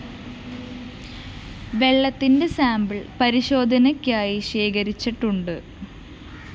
വെള്ളത്തിന്റെ സാമ്പിൾ പരിശോധയ്ക്കായി ശേഖരിച്ചിട്ടുണ്ട്